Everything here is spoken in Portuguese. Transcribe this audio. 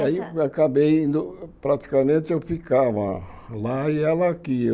E aí acabei indo, praticamente eu ficava lá e ela aqui.